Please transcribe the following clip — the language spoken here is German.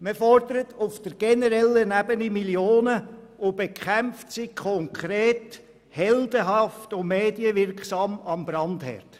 Man fordert auf der generellen Ebene Millionen und bekämpft sie konkret heldenhaft und medienwirksam am Brandherd.